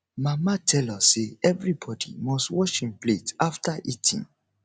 mama tell us say everybodi must wash im plate after eating